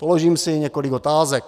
Položím si několik otázek.